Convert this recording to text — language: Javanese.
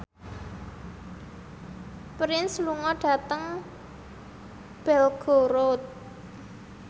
Prince lunga dhateng Belgorod